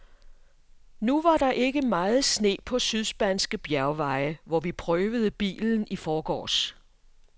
Nu var der ikke meget sne på sydspanske bjergveje, hvor vi prøvede bilen i forgårs.